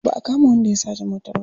Ba a kama wanda ya sace motar ba.